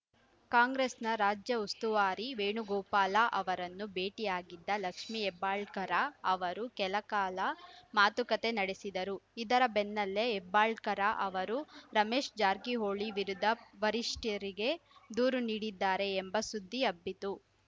ಕಾಂಗ್ರೆಸ್‌ನ ರಾಜ್ಯ ಉಸ್ತುವಾರಿ ವೇಣುಗೋಪಾಲ ಅವರನ್ನು ಭೇಟಿಯಾಗಿದ್ದ ಲಕ್ಷ್ಮಿ ಹೆಬ್ಬಾಳಕರ ಅವರು ಕೆಲಕಾಲ ಮಾತುಕತೆ ನಡೆಸಿದ್ದರು ಇದರ ಬೆನ್ನಲ್ಲೇ ಹೆಬ್ಬಾಳಕರ ಅವರು ರಮೇಶ್‌ ಜಾರಕಿಹೊಳಿ ವಿರುದ್ಧ ವರಿಷ್ಠರಿಗೆ ದೂರು ನೀಡಿದ್ದಾರೆ ಎಂಬ ಸುದ್ದಿ ಹಬ್ಬಿತ್ತು